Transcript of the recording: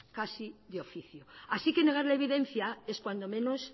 casi de oficio así que negar la evidencia es cuando menos